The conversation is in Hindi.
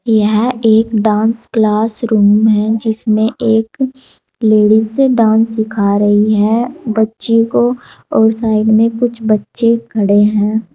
यह एक डांस क्लास रूम है जिसमें एक लेडिस है डांस सिखा रही है बच्ची को और साइड में कुछ बच्चे खड़े हैं।